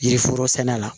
Yiri foro sɛnɛla